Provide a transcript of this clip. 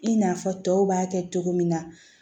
I n'a fɔ tɔw b'a kɛ cogo min na